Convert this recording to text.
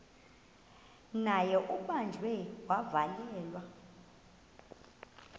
naye ubanjiwe wavalelwa